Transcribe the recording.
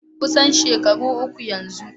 Kusan shekaru uku yanzu.